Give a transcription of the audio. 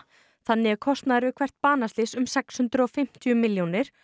þannig er kostnaður við hvert banaslys um sex hundruð og fimmtíu milljónir